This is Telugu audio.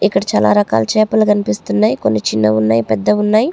ఇక్కడ చాలా రకాల చేపలు కనిపిస్తున్నాయి కొన్ని చిన్నఉన్నాయి కొన్ని పెద్దవున్నాయి.